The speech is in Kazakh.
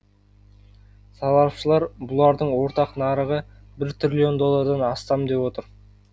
сарапшылар бұлардың ортақ нарығын бір триллион доллардан астам деп отыр